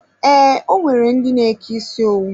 Ee, o nwere ndi n'eke isi owu.